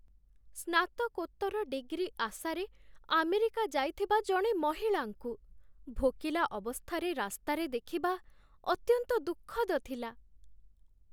ସ୍ନାତକୋତ୍ତର ଡିଗ୍ରୀ ଆଶାରେ ଆମେରିକା ଯାଇଥିବା ଜଣେ ମହିଳାଙ୍କୁ ଭୋକିଲା ଅବସ୍ଥାରେ ରାସ୍ତାରେ ଦେଖିବା ଅତ୍ୟନ୍ତ ଦୁଃଖଦ ଥିଲା।